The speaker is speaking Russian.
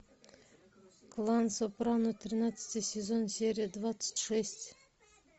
клан сопрано тринадцатый сезон серия двадцать шесть